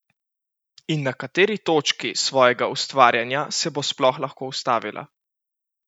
In na kateri točki svojega ustvarjanja se bo sploh lahko ustavila?